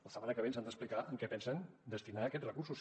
la setmana que ve ens han d’explicar en què pensen destinar aquests recursos